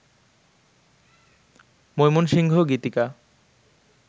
Mymensingh Gitika